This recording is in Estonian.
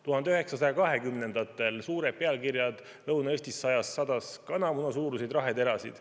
1920‑ndatel olid suured pealkirjad "Lõuna-Eestis sadas kanamunasuuruseid raheterasid".